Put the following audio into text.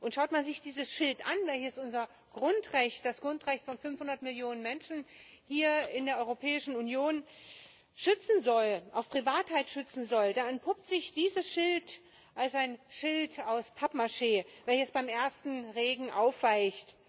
Schaut man sich diesen Schild, welcher unser Grundrecht, das Grundrecht von 500 Millionen Menschen hier in der Europäischen Union auf Privatheit schützen soll, da entpuppt sich dieser Schild als ein Schild aus Pappmaché, der beim ersten Regen aufweicht.